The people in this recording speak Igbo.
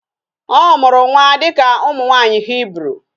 Ọ mụrụ nwa dịka ụmụ nwaanyị Hibru